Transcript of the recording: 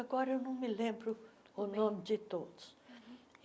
Agora, eu não me lembro o nome de todos.